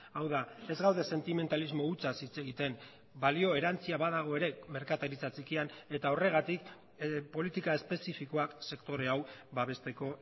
hau da ez gaude sentimentalismo hutsaz hitz egiten balio erantsia badago ere merkataritza txikian eta horregatik politika espezifikoak sektore hau babesteko